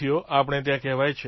આપણે ત્યાં કહેવાય છે